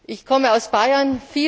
Ich komme aus Bayern.